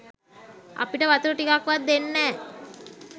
අපිට වතුර ටිකක් වත් දෙන්නෑ.